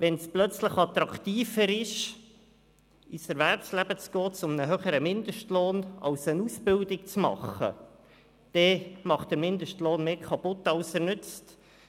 Wenn es plötzlich attraktiver ist, in das Erwerbsleben zu gehen als eine Ausbildung zu machen, dann macht der Mindestlohn mehr kaputt als er nützt.